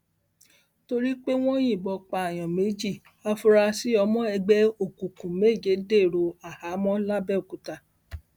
torí pé wọn yìnbọn pààyàn méjì àfurasí ọmọ ẹgbẹ òkùnkùn méje dèrò àhámọ lábẹ́òkúta